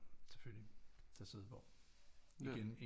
Selvfølgelig til at sidde på igen